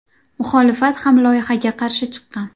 Muxolifat ham loyihaga qarshi chiqqan.